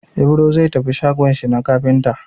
Ibro zai tafi shagon shi na kafinta.